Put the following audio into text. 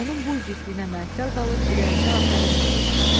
Onun bu igidliyinə məhəttəl qalıb ürəyində afərin dedi.